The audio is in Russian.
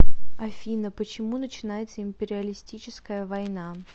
афина почему начинается империалистическая война